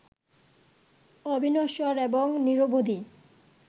অবিনশ্বর এবং নিরবধি